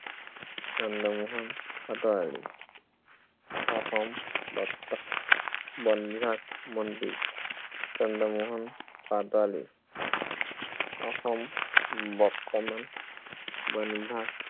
চন্দ্ৰমোহন পাটোৱাৰী। অসম, বন বিভাগ মন্ত্ৰী, চন্দ্ৰমোহন পাটোৱাৰী অসম, বৰ্তমান, বন বিভাগ